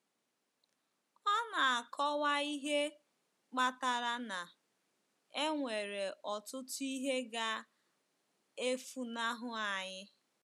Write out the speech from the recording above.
Ọ na - akọwa ihe kpatara na “ E nwere ọtụtụ ihe ga - efunahụ anyị.